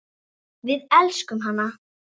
Við elskum hana.